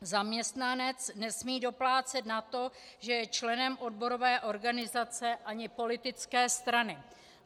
Zaměstnanec nesmí doplácet na to, že je členem odborové organizace ani politické strany.